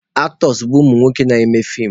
Aktọs bụ umunwoke na-eme feem.